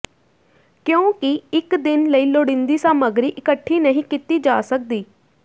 ਕਿਉਂਕਿ ਇਕ ਦਿਨ ਲਈ ਲੋੜੀਂਦੀ ਸਾਮੱਗਰੀ ਇਕੱਠੀ ਨਹੀਂ ਕੀਤੀ ਜਾ ਸਕਦੀ